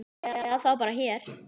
Eða þá bara hér.